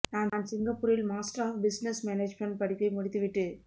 நான் சிங்கப்பூரில் master of business management படிப்பை முடித்து விட்டு